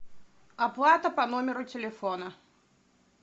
оплата по номеру телефона